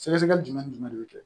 Sɛgɛsɛgɛli jumɛn ni jumɛn de bɛ kɛ